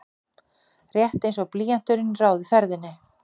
Rétt einsog blýanturinn ráði ferðinni.